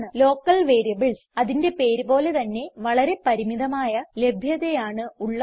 local variables അതിന്റെ പേര് പോലെ തന്നെ വളരെ പരിമിതമായ ലഭ്യതയാണ് ഉള്ളത്